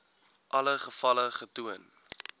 alle gevalle getoon